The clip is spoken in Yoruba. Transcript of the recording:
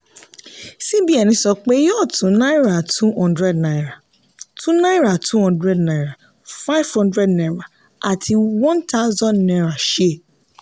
cbn sọ pé yóò tún náírà two hundred naira tún náírà two hundred naira five hundred naira àti one thousand naira ṣe.